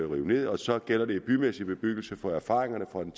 rive ned og så gælder det i bymæssig bebyggelse for erfaringerne fra den